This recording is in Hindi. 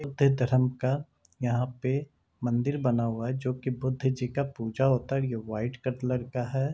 धरम का यहाँ पे मंदिर बना हुआ है जोकी बुद्ध जी का पूजा होता है और यह व्हाइट कलर लगता है।